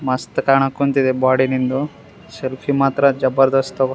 ಮಸ್ತ್ ಕಾಣಕ್ ಕುಂತಿದೆ ಬೋಡಿ ನಿಂದು ಸೆಲ್ಫೀ ಮಾತ್ರ್ ಜಬರ್ದಸ್ತ್ ಅವು.